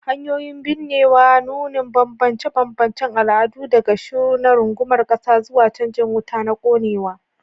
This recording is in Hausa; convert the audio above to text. Hanyoyin binnewa, nunin bambance-bambancen al'adu, daga shiru na rungumar ƙasa zuwa canjin wuta na konewa.